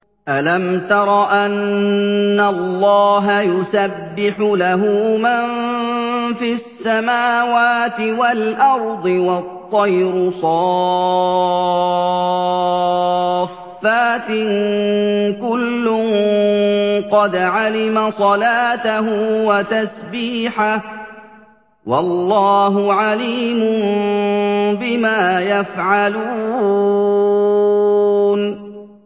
أَلَمْ تَرَ أَنَّ اللَّهَ يُسَبِّحُ لَهُ مَن فِي السَّمَاوَاتِ وَالْأَرْضِ وَالطَّيْرُ صَافَّاتٍ ۖ كُلٌّ قَدْ عَلِمَ صَلَاتَهُ وَتَسْبِيحَهُ ۗ وَاللَّهُ عَلِيمٌ بِمَا يَفْعَلُونَ